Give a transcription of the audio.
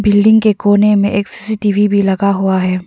Building के कोने में एक सी_सी_टी_वी भी लगा हुआ है।